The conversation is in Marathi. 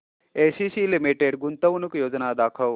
एसीसी लिमिटेड गुंतवणूक योजना दाखव